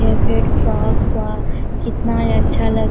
ए red frock वह कितने में अच्छा--